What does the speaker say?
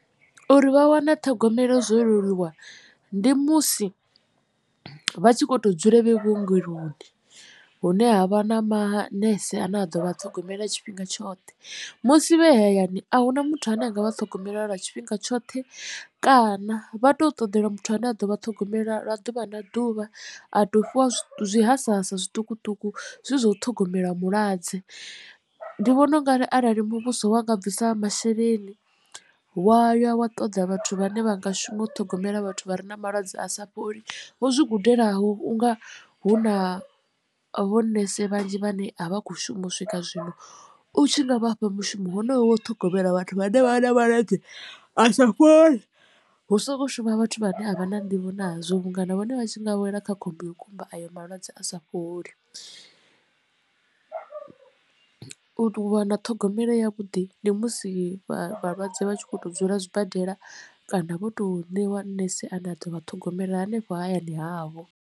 Uri vha wane ṱhogomelo zwo leluwa ndi musi vha tshi kho to dzula vhe vhuongeloni hune ha vha na manese a ne a ḓo vha a ṱhogomela tshifhinga tshoṱhe musi vhe hayani a huna muthu ane anga vha ṱhogomela lwa tshifhinga tshoṱhe kana vha tou ṱoḓelwa muthu ane a ḓo vha a ṱhogomela ḓuvha na ḓuvha a to fhiwa zwi hasahasa zwiṱukuṱuku zwezwi zwa u ṱhogomela mulwadze. Ndi vhona ungari arali muvhuso wa nga bvisa masheleni wa ya wa ṱoḓa vhathu vhane vha nga shuma u ṱhogomela vhathu vha re na malwadze a sa fholi vho zwi gudelaho unga hu na vho nese vhanzhi vhane a vha kho shuma u swika zwino u tshi nga vhafha mushumo honoyo wa u ṱhogomela vhathu vhane vha na malwadze a sa fholi hu songo shuma vhathu vha ne a vha na nḓivho nazwo vhunga na vhone vha tshi nga wela kha khombo yo kumba ayo malwadze a sa fholi. U wana ṱhogomelo ya vhuḓi ndi musi vha vhalwadze vha tshi kho to dzula zwibadela kana vho to ṋewa nese a ne a ḓo vha ṱhogomela hanefho hayani havho.